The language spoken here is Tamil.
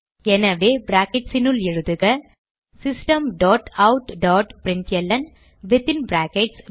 எனவே brackets னுள் எழுதுக system dot out dot println within brackets